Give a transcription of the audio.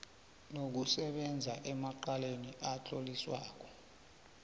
nokusebenza emacaleni adluliswako